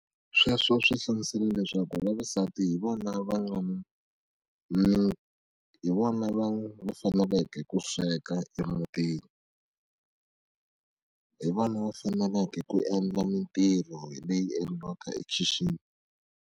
Sweswo swi hlamusela leswaku vavasati hi vona va nga ni hi vona va faneleke ku sweka emutini hi vona va faneleke ku endla mitirho leyi endliwaka ekhixini.